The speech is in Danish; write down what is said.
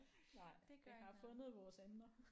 Nej vi har fundet vores emner